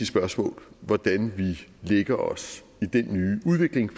spørgsmål hvordan vi lægger os i den nye udvikling